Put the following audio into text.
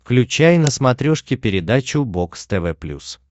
включай на смотрешке передачу бокс тв плюс